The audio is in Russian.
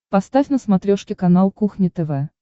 поставь на смотрешке канал кухня тв